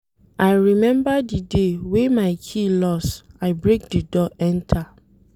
I rememba di day wey my key loss, I break di door enta.